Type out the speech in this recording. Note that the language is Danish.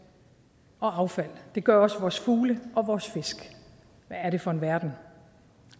og affald det gør også vores fugle og vores fisk hvad er det for en verden